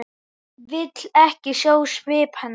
Vill ekki sjá svip hennar.